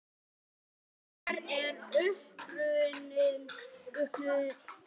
Hver er uppruni snáka?